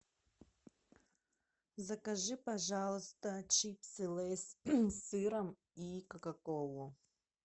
закажи пожалуйста чипсы лейс с сыром и кока колу